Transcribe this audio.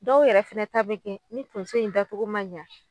Dɔw yɛrɛ fɛnɛ ta bɛ kɛ ni tonso in dacogo ma ɲa